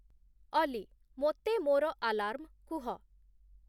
ଅଲି ମୋତେ ମୋର ଆଲାର୍ମ କୁହ